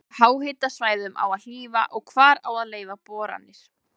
Hvaða háhitasvæðum á að hlífa og hvar á að leyfa boranir?